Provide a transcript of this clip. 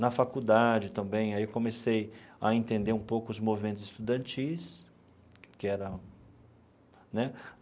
Na faculdade, também, aí comecei a entender um pouco os movimentos estudantis que era né.